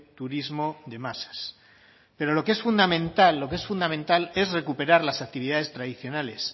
turismo de masas pero lo que es fundamental lo que es fundamental es recuperar las actividades tradicionales